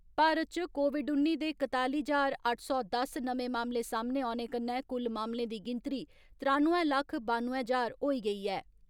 भारत च कोविड उन्नी दे कताली ज्हार अट्ठ सौ दस नमें मामले सामने औने कन्नै कुल मामलें दी गिनतरी त्रानुए लक्ख बानुए ज्हार होई गेई ऐ।